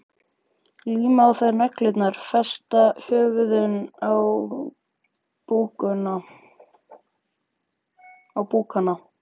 Líma á þær neglurnar, festa höfuðin á búkana.